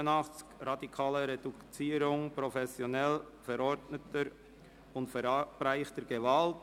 «Radikale Reduzierung professionell verordneter und verabreichter Gewalt».